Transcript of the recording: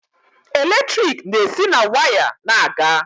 Eletrik na-esi na waya na-aga.